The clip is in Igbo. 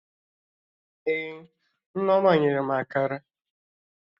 Ee, Nneoma nyere m Akara